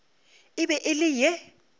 e be e le ye